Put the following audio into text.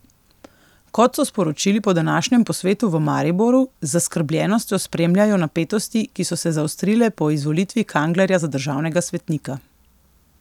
Kot so sporočili po današnjem posvetu v Mariboru, z zaskrbljenostjo spremljajo napetosti, ki so se zaostrile po izvolitvi Kanglerja za državnega svetnika.